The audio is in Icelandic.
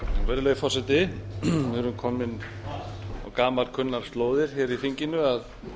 virðulegi forseti við erum komin á gamalkunnar slóðir hér í þinginu að